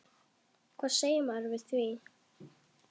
Hvað segir maður við því?